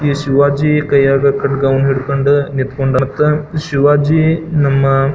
ಶಿವಾಜಿ ಕೈಯಾಗ್ ಕಡ್ಗ್ ವನ್ನು ಹಿಡಕೊಂಡು ನಿಂತ್ಕೊಂಡ್ ಮತ್ತೆ ಶಿವಾಜಿ ನಮ್ಮ--